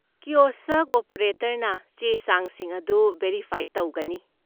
Kiosk ꯑꯣꯄꯔꯦꯇꯔꯅ ꯆꯦ ꯆꯥꯡꯁꯤꯡ ꯑꯗꯨ ꯚꯦꯔꯤꯐꯥꯏ ꯇꯧꯒꯅꯤ꯫